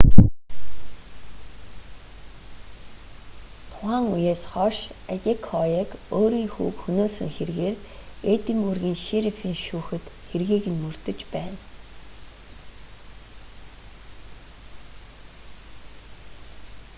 тухайн үеэс хойш адекояг өөрийн хүүг хөнөөсөн хэргээр эдинбургийн шерифийн шүүхэд хэргийг нь мөрдөж байна